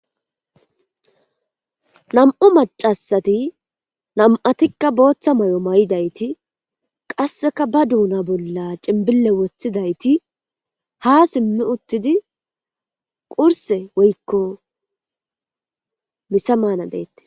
nam'u macasati nam'atikka booththa may'o may'idayti qasseka ba duuna bolla ciimbile woththidayti ha simmi uuttidii qurse woykko missa maana deettes